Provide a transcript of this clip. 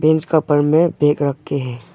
Bench का ऊपर में बैग रके है।